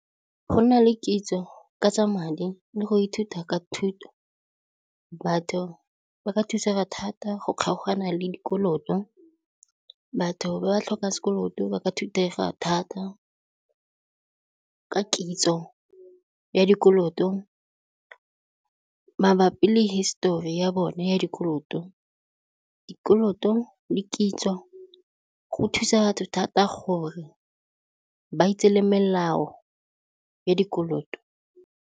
Go nna le kitso ka tsa madi le go ithuta ka thuto, batho ba ka thusega thata go kgaogana le dikoloto. Batho ba ba tlhokang sekoloto ba ka thusega thata ka kitso ya dikoloto mabapi le hisetori ya bone ya dikoloto, dikoloto le kitso go thusa batho thata gore ba itse le melao ya dikoloto.